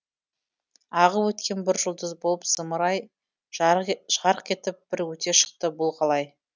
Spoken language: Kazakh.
ағып өткен бір жұлдыз болып зымыра ай жарық етіп бір өте шықты бұл қалай